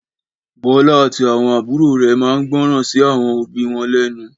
Bọlá àti àwọn àbúrò rè máa ń gbọ́ràn sí àwọn òbí wọn lénu.